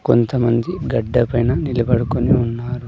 కొంతమంది గడ్డ పైన నిలబడుకొని ఉన్నారు.